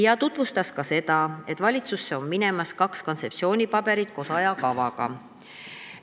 Ta tutvustas ka seda, et valitsusse on minemas kaks kontseptsioonipaberit koos ajakavaga.